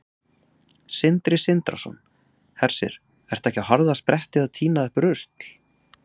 Sindri Sindrason: Hersir, ertu ekki á harðaspretti að tína upp rusl?